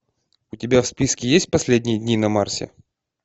у тебя в списке есть последние дни на марсе